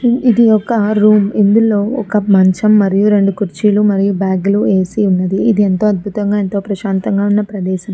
ఇది ఒక రూమ్ ఇందులో ఒక మంచం మరియు రెండు కుర్చీలు మరియు బ్యాగులు ఏసీ ఉంది ఇది ఎంత అద్భుతంగా ఎంతో ప్రశాంతంగా ఉన్న ప్రదేశం